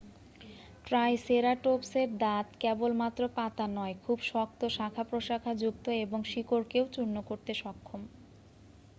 ট্রাইসেরাটোপসের দাঁত কেবলমাত্র পাতা নয় খুব শক্ত শাখা-প্রশাখাযুক্ত এবং শিকড়কেও চূর্ণ করতে সক্ষম